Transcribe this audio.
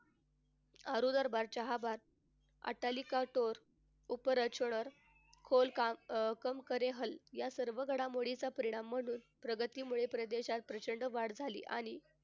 अनुराबाद अतालिका तोर खोलकाम अह कम करे हल. या सर्व घडामोडींचा परिणाम म्हणून प्रगतीमुळे प्रदेशात प्रचंड वाढ झाली आणि,